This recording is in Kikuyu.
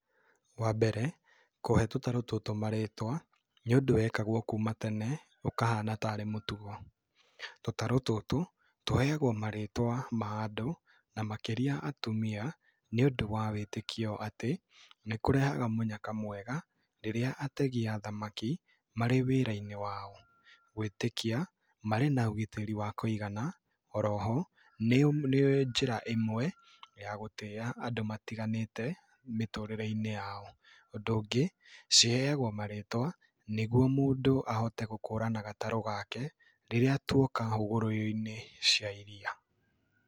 Wa mbere, kũhe tũtarũ tũtũ marĩtwa, nĩ ũndũ wekagwo kuuma tene, ũkahana tarĩ mũtugo. Tũtarũ tũtũ, tũheagwo marĩtwa ma andũ na makĩria atumia, nĩ ũndũ wa wĩtĩkio atĩ, nĩ kũrehaga mũnyaka mwega, rĩrĩa ategi a thamaki marĩ wĩra-inĩ wao. Gũĩtĩkia marĩ na ũgitĩri wa kũigana. Oroho, nĩ njĩra ĩmwe ya gũtĩa andũ matiganĩte mĩtũrĩre-inĩ yao. Ũndũ ũngĩ, ciheagwo marĩtwa nĩ guo mũndu ahote gũkũrana gatarũ gake rĩrĩa tuoka hũgũrũ-inĩ cia iria.